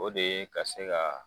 O de ye ka se ka